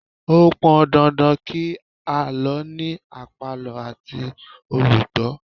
Ó pọn dandan kí àlọ́ ní àpàlọ́ àti olùgbó